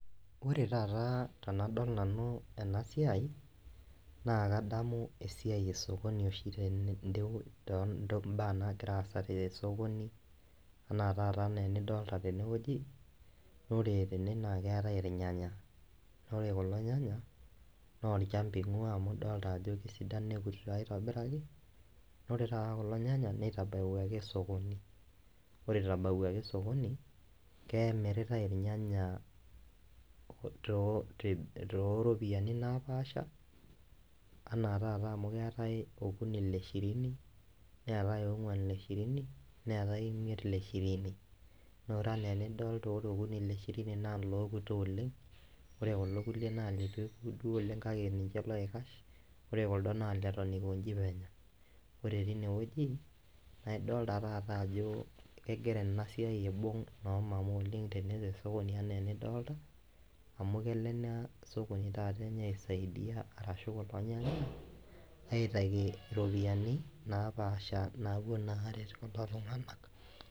Ore taata tenadol nanu ena siai naake adamu esiai esokoni oshi te ndeu too mbaa naagira aasa te esokoni enaa taata nee enidolta tene woji. Ore tene naake eetai irnyanya naa ore kulo nyanya naa olchamba ing'ua amu idolta ajo sidan nekutito aitobiraki, ore taata kulo nyanya neitabawuaki esokoni. Ore eitabawuaki esokoni, keemiritai irnyanya too ropiani napaasha enaa taata amu keetai okuni le shirini, neetai oong'uan le shirini, neetai imiet le shirini, naa ore naa enidolta ore okuni le shirini naa lookuto oleng' ore kulo kuliek naa litu ekutu oleng' kake ninche loikash kore kuldo naa leton iko nji penyo. Ore tine wueji naa idolta taata ajo egira ena siai aibung' noo mama oleng' te esokoni enaa enidolta amu kelo ena sokoni taata enye aisaidia arashu kulo nyanya aitayu ropiani naapaasha naapuo naa aaret kulo tung'anak.